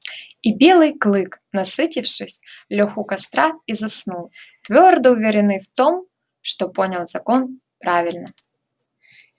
и белый клык насытившись лёг у костра и заснул твёрдо уверенный в том что понял закон правильно